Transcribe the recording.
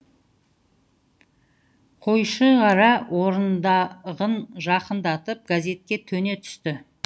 қойшығара орындығын жақындатып газетке төне түсті